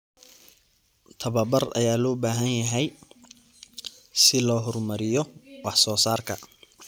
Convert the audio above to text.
Tababar ayaa loo baahan yahay si loo horumariyo wax soo saarka.